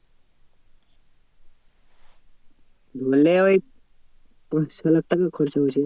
ধরেনে ওই পাঁচ ছলাখ টাকা খরচা হচ্ছে।